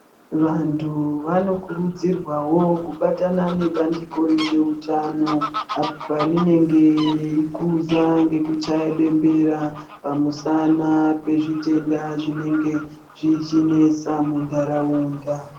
Vantu vanokurudzirwawo kubatana nebandiko rezveutano apo parinenge reikhuza ngekuchaye bembera oamusana pezvitenda zvinenge zvichinenesa muntaraunda.